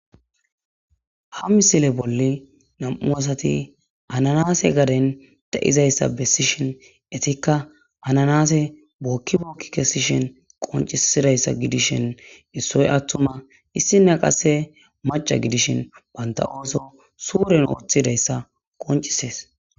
ha misile bolle nam7u asati ananase gaden da7izayssa bessishin etikka ananase bookki bookki kessishin qoncisidayssa gidishin issoy attuma issina qasse maca gidishin banta ooso suuren ooththidayssa qoncisees